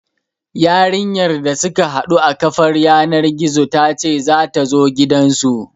Yarinyar da suka haɗu a kafar yanar gizo ta ce za ta zo gidansu.